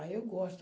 Aí eu gosto.